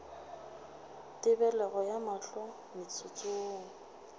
tebelego ya mahlo motsotso wo